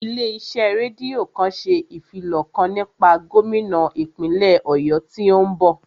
Ilé iṣẹ́ rédíò kan ṣe ìfilọ̀ kan nípa gómínà ìpínlè Ọ̀yọ́ tí ó ń bọ̀